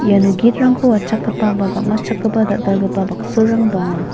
iano gitrangko watchakgipa ba gam·atchakgipa dal·dalgipa baksorang donga.